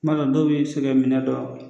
kuama dɔw la bi se kɛ minɛ don a .